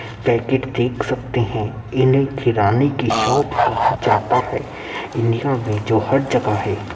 Packet देख सकते हैं इन्हें किराने की शॉप कहा जाता है। इंडिया में जो हर जगह है।